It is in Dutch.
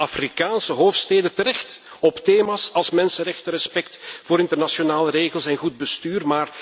We drukken bij Afrikaanse hoofdsteden terecht op thema's als mensenrechten, respect voor internationale regels en goed bestuur.